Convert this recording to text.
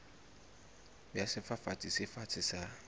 ya sefafatsi se fatshe sa